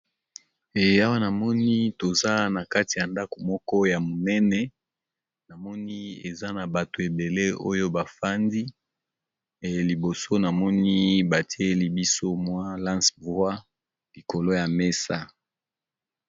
E awa na moni toza na kati ya ndako moko ya monene na moni eza na bato ebele oyo ba fandi e liboso na moni ba tieli biso mwa lince-voie likolo ya mesa.